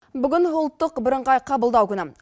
бүгін ұлттық бірыңғай қабылдау күні